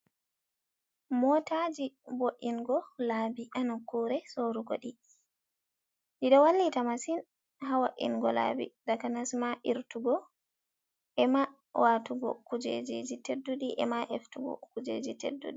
Motaji bo’ingo laabi ha nokkure sorugo ɗi. Ɗiɗo wallita masin hawo’ingo laɓi. Takanasma irtugo ema watugo kujeji ji tedduɗi, ema eftugo kujeji tedduɗi.